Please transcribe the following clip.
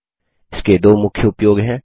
इसके दो मुख्य उपयोग हैं